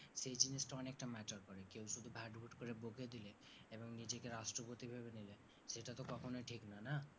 সেই জিনিসটা অনেকটা matter করে কেও শুধু ভাট ভুট করে বকে দিলে এবং নিজেকে রাষ্ট্রপতি ভেবে নিলে সেটাতো কখনোই ঠিকনা না